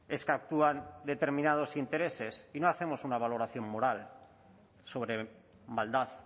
es que actúan determinados intereses y no hacemos una valoración moral sobre maldad